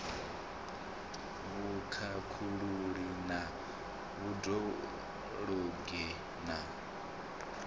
vhukhakhululi na vhud ologi na